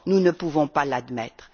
Nous ne pouvons pas les admettre.